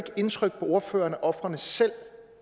indtryk på ordføreren at ofrene selv